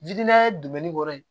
dumɛni kɔrɔ ye